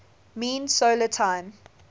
mean solar time